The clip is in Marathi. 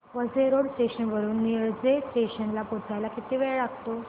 वसई रोड स्टेशन वरून निळजे स्टेशन ला पोहचायला किती वेळ लागतो